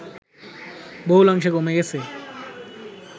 বহুলাংশে কমে গেছে